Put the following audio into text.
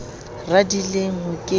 radileng ho ke ke ha